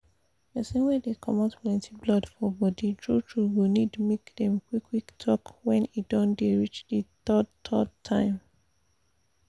persin wey dey comot plenty blood for body true true go need make dem qik qik talk when e don dey reach the third third time